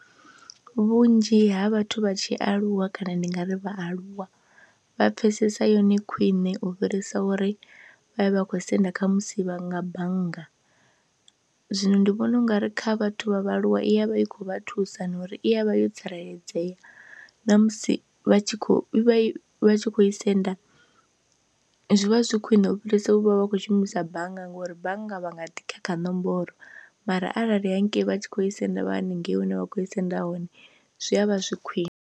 Vhunzhi ha vhathu vha tshi aluwa kana ndi nga ri vhaaluwa vha pfhesesa yone khwiṋe u fhirisa uri vha vhe vha kho senda kha musi vha nga bannga, zwino ndi vhona u nga ri kha vhathu vha vhaaluwa i ya vha i khou vha thusa na uri i ya vha yo tsireledzea na musi vha tshi khou i vha i tshi khou i senda zwi vha zwi khwiṋe u fhirisa u vha vha khou shumisa bannga ngori bannga vha nga ḓi khakha nomboro mara arali hangei vha tshi khou i senda vha haningei hune vha khou i senda hone zwi a vha zwi khwine.